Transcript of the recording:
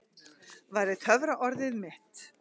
væri töfraorðið mitt.